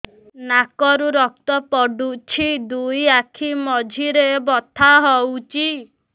ନାକରୁ ରକ୍ତ ପଡୁଛି ଦୁଇ ଆଖି ମଝିରେ ବଥା ହଉଚି